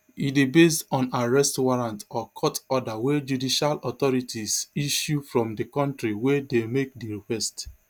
e dey based on arrest warrant or court order wey judicial authorities issue from di kontri wey dey make di request